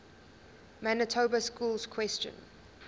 manitoba schools question